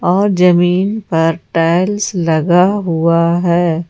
और जमीन पर टाइल्स लगा हुआ है।